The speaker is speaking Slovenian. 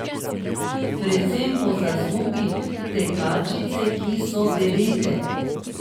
Predvsem po zaslugi tekačic, ki so devete.